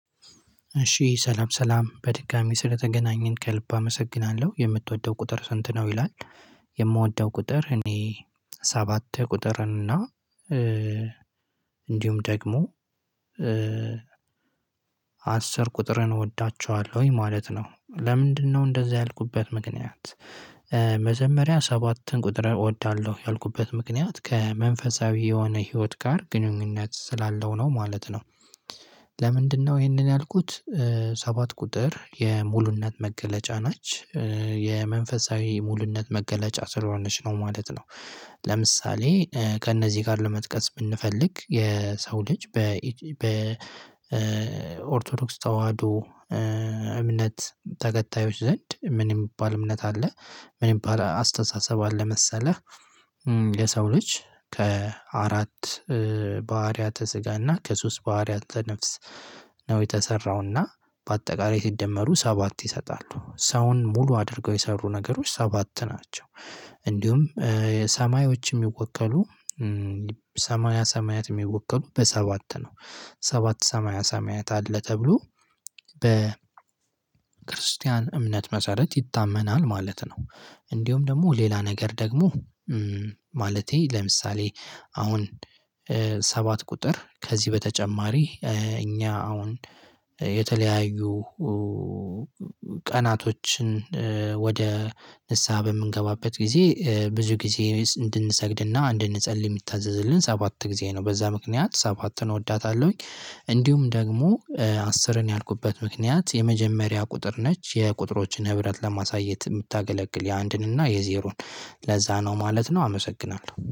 እሺ ሰላም ሰላም በድጋሚ ስለተገናኘን ከልብ አመሰግናለሁ የምትወደው ቁጥር ስንት ነው ይላል? የምወደው ቁጥር እኔ ሰባት ቁጥር እና እንዲሁም ደግሞ አስር ቁጥርን እወዳቸዋለሁኝ ማለት ነው። ለምንድነው እንደዚህ ያልኩበት ምክንያት? መጀመሪያ ሰባትን ቁጥር እወዳለሁ ያልኩበት ምክንያት ከመንፈሳዊ የሆነ ህይወት ጋር ግንኙነት ስላለው ነው ማለት ነው። ለምንድነው ይሄንን ያልኩት? ሰባት ቁጥር የሙሉነት መገለጫ ናች የመንፈሳዊ ሙሉነት መገለጫ ስለሆነች ነው ማለት ነው። ለምሳሌ ከእነዚህ ጋር ለመጥቀስ ብንፈልግ የሰው ልጅ በ በኦርቶዶክስ ተዋህዶ እምነት ተከታዮች ዘንድ ምን የሚባል እምነት አለ? ምን የሚባል አስተሳሰብ አለ መሰለህ? የሰው ልጅ ከአራት ባህሪያተ ስጋና ከሶስት ባህሪያተ ነፍስ ነው። የተሰራውና በአጠቃላይ ሲደመሩ ሰባት ይሰጣሉ ሰውን ሙሉ አድርገው የሰሩ ነገሮች ሰባት ናቸው። ሰማያዎች የሚወከሉ ሰማያ ሰማያት የሚወቀሉ በሰባት ነው። ሰባት ሰማያ ሰማያት አለ ተብሎ በ ክርስቲያን እምነት መሰረት ይታመናል ማለት ነው። እንዲሁም ደግሞ ሌላ ነገር ደግሞ ማለቴ ለምሳሌ አሁን ሰባት ቁጥር ከዚህ በተጨማሪ እኛ አሁን የተለያዩ ቀናቶችን ወደ ንስሃ በምንገባበት ጊዜ ብዙ ጊዜ እንድንሰግድና እንድንጸልይ የሚታዘዝልን ሰባት ጊዜ ነው በዛ ምክንያት ሰባትን እወዳታለሁኝ። እንዲሁም ደግሞ አስርን ያልኩበት ምክንያት የመጀመሪያ ቁጥር ነች የቁጥሮችን ህብረት ለማሳየት የምታገለግል የአንድን እና የዜሮን ለዛ ነው ማለት ነው። አመሰግናለሁ